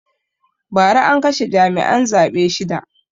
Ba ra an kashe jami'an zaɓe shida